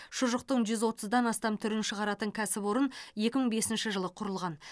шұжықтың жүз отыздан астам түрін шығаратын кәсіпорын екі мың бесінші жылы құрылған